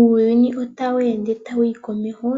Uuyuni otawu ende ta wuyi komeho